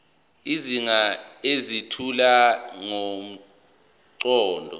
izigaba ezethula ngomqondo